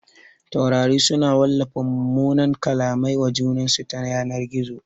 Taurari su na wallafa mumunan kallamai wa junansu ta yanar gizo